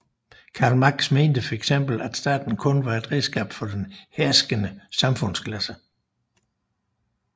Karl Marx mente for eksempel at staten kun var et redskab for den herskende samfundsklasse